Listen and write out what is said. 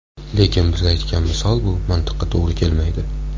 Lekin biz aytgan misol bu mantiqqa to‘g‘ri kelmaydi.